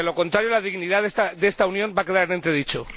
De lo contrario, la dignidad de esta Unión va a quedar en entredicho.